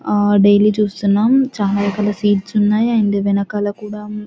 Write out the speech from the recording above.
ఆ డైలీ చూస్తున్నాం చాలా రకాల సీడ్స్ ఉన్నాయి అండ్ వెనకాల కూడా --